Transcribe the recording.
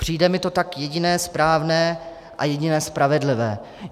Přijde mi to tak jediné správné a jediné spravedlivé.